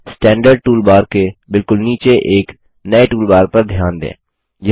standard toolbar के बिलकुल नीचे एक नये टूलबार पर ध्यान दें